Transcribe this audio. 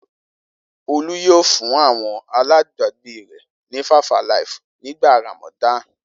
Olú yóò fún àwọn alágbàágbé rẹ̀ ní 5-alive nígbà Ramadan.